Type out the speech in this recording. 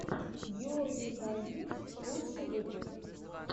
георгий каргин лучший выпуск